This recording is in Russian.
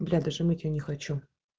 бля даже мыть её не хочу